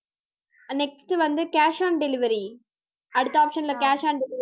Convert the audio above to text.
next வந்து cash on delivery அடுத்த option ல cash on delivery